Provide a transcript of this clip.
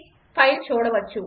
file చూడవచ్చు